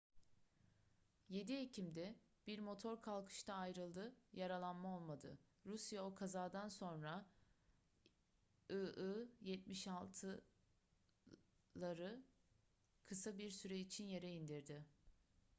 7 ekim'de bir motor kalkışta ayrıldı yaralanma olmadı rusya o kazadan sonra il-76'leri kısa bir süre için yere indirdi